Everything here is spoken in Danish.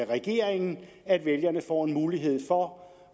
regeringen at vælgerne får en mulighed for